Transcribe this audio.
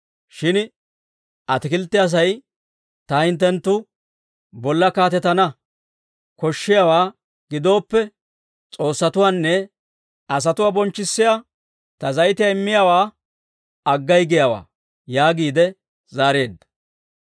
Shin atikilttiyaa sa'ay, ‹Ta hinttenttu bolla kaatetana koshshiyaawaa gidooppe, s'oossatuwaanne asatuwaa bonchchissiyaa ta zayitiyaa immiyaawaa aggay giyaawaa› yaagiide zaareedda.